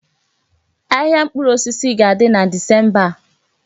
Ahịa mkpụrụ osisi ga-aga na Disemba a.